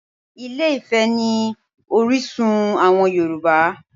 Ilé-Ifẹ̀ ni orísun àwọn Yorùbá